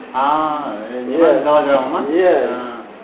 ааа не голограмма ма иә ааа